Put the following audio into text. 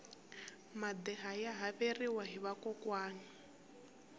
madeha ya haveriwa hi vakokwani